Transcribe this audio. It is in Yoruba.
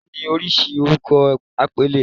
"Bola"ni oríṣi orúkọ àpèlé.